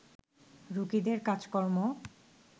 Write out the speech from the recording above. রোগীদের কাজকর্ম